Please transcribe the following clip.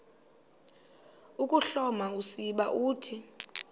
ukuhloma usiba uthi